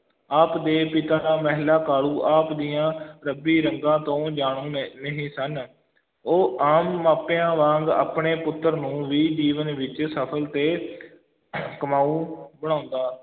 ਆਪ ਦੇ ਪਿਤਾ ਦਾ ਮਹਿਤਾ ਕਾਲੂ ਆਪ ਦੀਆਂ ਰੱਬੀ ਰੰਗਾਂ ਤੋਂ ਜਾਣੂ ਨ~ ਨਹੀਂ ਸਨ ਉਹ ਆਮ ਮਾਪਿਆਂ ਵਾਂਗ ਆਪਣੇ ਪੁੱਤਰ ਨੂੰ ਵੀ ਜੀਵਨ ਵਿੱਚ ਸਫਲ ਤੇ ਕਮਾਊ ਬਣਾਉਂਦਾ